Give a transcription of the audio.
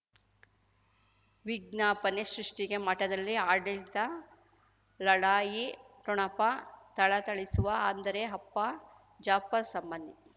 ವಿಜ್ಞಾಪನೆ ಸೃಷ್ಟಿಗೆ ಮಠದಲ್ಲಿ ಆಡಳಿತ ಲಢಾಯಿ ಠೊಣಪ ಥಳಥಳಿಸುವ ಅಂದರೆ ಅಪ್ಪ ಜಾಫರ್ ಸಂಬಂಧಿ